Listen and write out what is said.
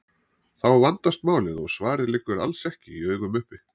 Þá vandast málið og svarið liggur alls ekki í augum uppi.